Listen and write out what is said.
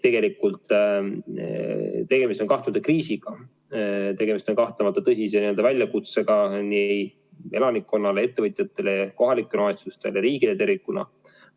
Tegelikult tegemist on kahtlemata kriisiga, tegemist on kahtlemata tõsise väljakutsega nii elanikkonnale, ettevõtjatele, kohalikele omavalitsustele kui ka riigile tervikuna.